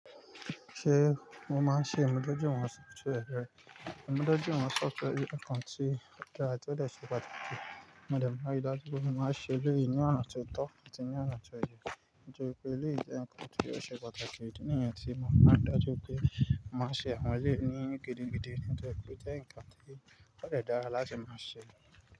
Ṣé mo màá ń ṣe ìmúdójúìwọ̀n software rẹ? Ìmúdójúìwọ̀n software jẹ́ nǹkan tí ó dáa tí ó dẹ̀ ṣe pàtàkì. Mo dẹ̀ máa ń ríi dájú pé mo máa ń ṣe'léyìí ní ọ̀nà tí ó tọ́, àti ní ọ̀nà tí ó yẹ. Nítorí pé eléyìí jẹ́ nǹkan tí ó ṣe pàtàkì. Ìdí nìyẹn tí mo màá ń ríi dájú pé mo máa ń ṣe àwọn eléyìí ní gidigidi nítorí pó jẹ́ nǹkan tí ó dẹ̀ dára láti máa ṣe.